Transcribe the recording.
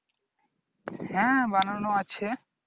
হ্যাঁ বানানো আছে